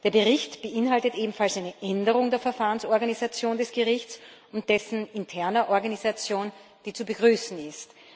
Der Bericht beinhaltet außerdem eine Änderung der Verfahrensorganisation des Gerichts und dessen interner Organisation, die zu begrüßen ist.